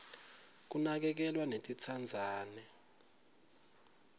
kunakekelwa netintsandzane